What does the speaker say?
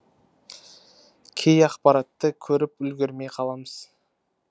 кей ақпаратты көріп үлгермей қаламыз